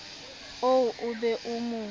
oo o be o mo